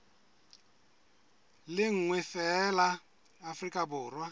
le nngwe feela afrika borwa